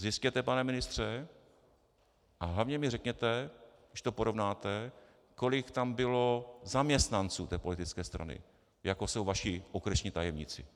Zjistěte, pane ministře, a hlavně mi řekněte, když to porovnáte, kolik tam bylo zaměstnanců té politické strany, jako jsou vaši okresní tajemníci.